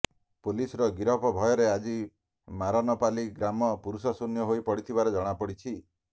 ପୁଲିସର ଗିରଫ ଭୟରେ ଆଜି ମାରନପାଲି ଗ୍ରାମ ପୁରୁଷ ଶୂନ୍ୟ ହୋଇ ପଡିଥିବାର ଜଣାପଡିଛି